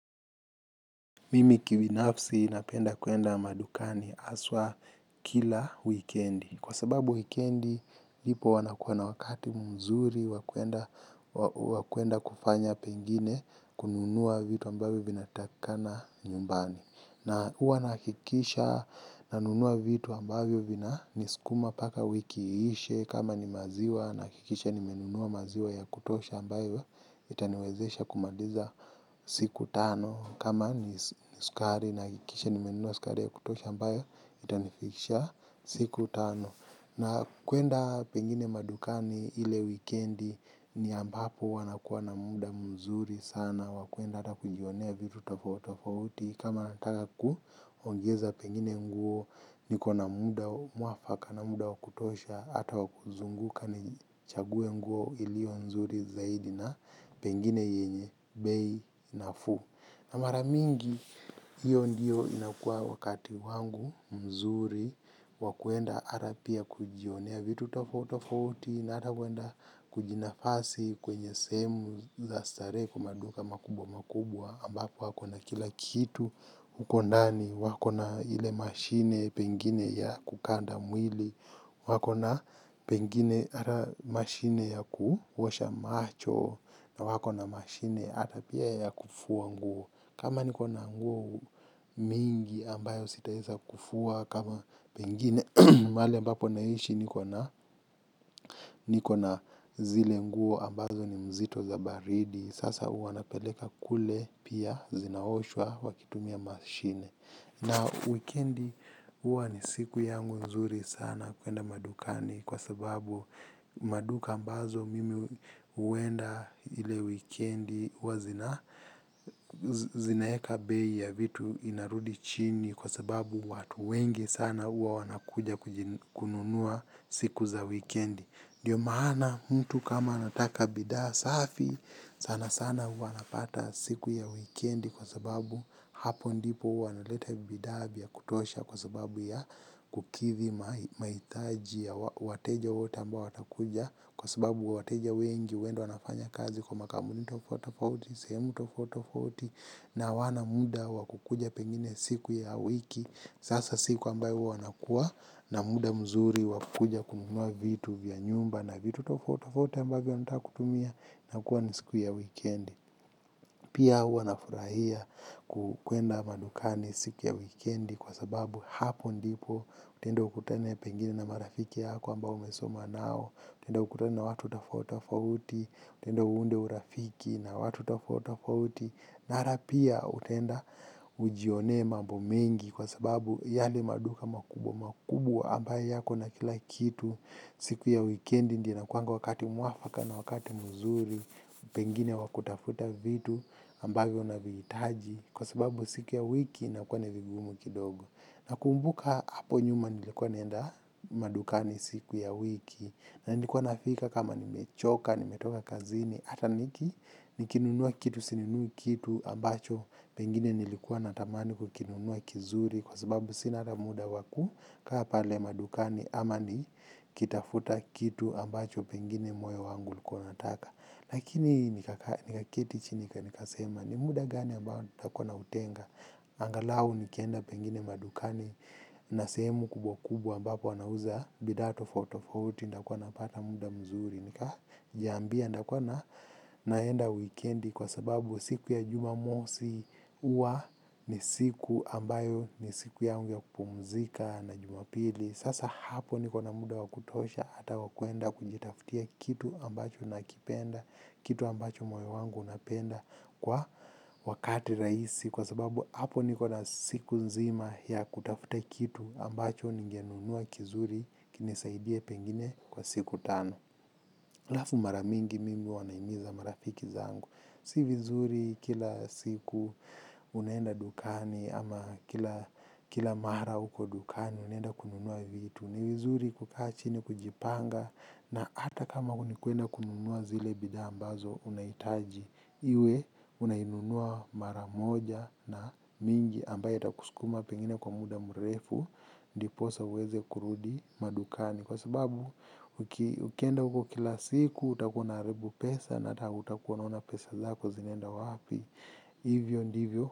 Mimi kibinafsi napenda kuenda madukani haswa kila wikendi. Kwa sababu wikendi, ipo huwa nakuwa na wakati mzuri, wa kuenda kufanya pengine kununua vitu ambavyo vinatakina nyumbani. Na huwa nahakikisha nanunua vitu ambavyo vinanisukuma mpaka wiki iishe kama ni maziwa, nahakikisha nimenunua maziwa ya kutosha ambayo itaniwezesha kumaliza siku tano. Kama ni sukari nahakikisha nimenunua sukari ya kutosha ambayo, itanifikisha siku tano. Na kuenda pengine madukani ile wikendi ni ambapo huwa nakuwa na muda mzuri sana. Wa kuenda hata kujionea vitu tofauti tofauti. Kama nataka kuongeza pengine nguo niko na muda mwafaka na muda wa kutosha. Hata wa kuzunguka ni chague nguo iliyo mzuri zaidi na pengine yenye bei nafuu. Na mara mingi, hiyo ndiyo inakua wakati wangu mzuri wa kuenda hata pia kujionea vitu tofauti tofauti na hata huenda kujinafasi kwenye sehemu za starehe kwa maduka makubwa makubwa ambapo wako na kila kitu huko ndani wako na ile mashine pengine ya kukanda mwili. Wako na pengine hata mashine ya kuosha macho na wako na mashine hata pia ya kufua nguo kama niko na nguo mingi ambayo sitaweza kufua kama pengine pale ambapo naishi niko na niko na zile nguo ambazo ni mzito za baridi sasa huwa napeleka kule pia zinaoshwa wakitumia mashine na wikendi huwa ni siku yangu nzuri sana kuenda madukani kwa sababu maduka ambazo mimi huenda ile wikendi huwa zina zinaweka bei ya vitu vinarudi chini kwa sababu watu wengi sana huwa wanakuja kununua siku za wikendi ndiyo maana mtu kama anataka bidhaa safi sana sana huwa napata siku ya wikendi kwa sababu hapo ndipo huwa analeta bidhaa vya kutosha kwa sababu ya kukidhi mahitaji ya wateja wote ambao watakuja kwa sababu wateja wengi huenda wanafanya kazi kwa makampuni tofauti tofauti, sehemu tofauti tofauti na hawana muda wa kukuja pengine siku ya wiki sasa siku ambayo huwa nakua na muda mzuri wa kukuja kununua vitu vya nyumba na vitu tofauti tofauti ambavyo nataka kutumia na kuwa ni siku ya wikendi pia huwa nafurahia kuenda madukani siku ya wikendi kwa sababu hapo ndipo utaenda ukutane pengine na marafiki yako ambao umesoma nao. Utaenda ukutane na watu tofauti tofauti. Utaenda uunde urafiki na watu tofauti tofauti. Na hata pia utaenda ujione mambo mengi kwa sababu yale maduka makubwa makubwa ambayo yako na kila kitu. Siku ya wikendi ndi inakuanga wakati mwafaka na wakati muzuri. Pengine wa kutafuta vitu ambayo navihijitaji kwa sababu siku ya wiki inakuwa ni vigumu kidogo. Nakumbuka hapo nyuma nilikuwa naenda madukani siku ya wiki, na nilikuwa nafika kama nimechoka, nimetoka kazini, hata niki nikinunua kitu, sininunui kitu, ambacho pengine nilikuwa natamani kukinunua kizuri kwa sababu sina hata muda wa kukaa pale madukani ama ni kitafuta kitu ambacho pengine moyo wangu ulikuwa unataka. Lakini nikaketi chini nikasema ni muda gani ambao nitakuwa nautenga. Angalau nikienda pengine madukani na sehemu kubwa kubwa ambapo wanauza bidhaa tofauti tofauti nitakuwa napata muda mzuri. Nikajiambia nitakuwa na naenda wikendi kwa sababu siku ya jumamosi huwa ni siku ambayo ni siku yangu ya kupumzika na jumapili. Sasa hapo niko na muda wa kutosha ata wakuenda kujitaftia kitu ambacho nakipenda, kitu ambacho mwe wangu unapenda kwa wakati rahisi. Kwa sababu hapo niko na siku nzima ya kutafuta kitu ambacho ningenunua kizuri kinisaidie pengine kwa siku tano. Alafu mara mingi mingi huwa nahimiza marafiki zangu. Si vizuri kila siku unaenda dukani ama kila mara huko dukani unaenda kununua vitu. Ni vizuri kukaa chini kujipanga na hata kama nu kuenda kununua zile bidhaa ambazo unahitaji. Iwe unainunua mara moja na mingi ambaye itakusukuma pengine kwa muda mrefu ndiposa uweze kurudi madukani. Kwa sababu ukienda huko kila siku utakuwa unaharibu pesa na utakuwa unaona pesa zako zinaenda wapi. Hivyo ndivyo.